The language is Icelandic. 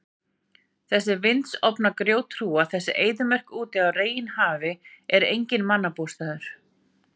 Þessi vindsorfna grjóthrúga, þessi eyðimörk úti á reginhafi er enginn mannabústaður.